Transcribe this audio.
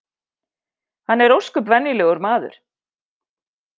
Hann er ósköp venjulegur maður